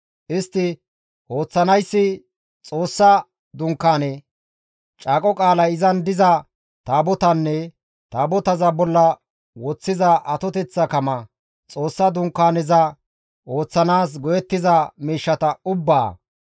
Istti ooththanayssi Xoossa Dunkaane, Caaqo qaalay izan diza Taabotaanne Taabotaza bolla woththiza atoteththa kama, Xoossa Dunkaaneza ooththanaas go7ettiza miishshata ubbaa,